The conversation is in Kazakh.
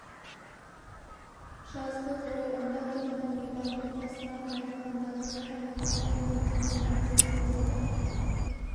жазды ғой онда тұрған не бар отбасынан айырылғандағы хәлі қандай екенін әбден сезеді